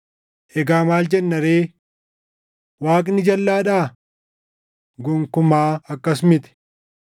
Egaa maal jenna ree? Waaqni jalʼaadhaa? Gonkumaa akkas miti!